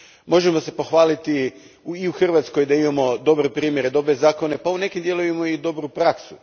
Možemo se pohvaliti i u Hrvatskoj da imamo dobre primjere, dobre zakone pa i u nekim dijelovima i dobru praksu.